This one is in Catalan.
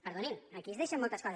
perdonin aquí es deixen moltes coses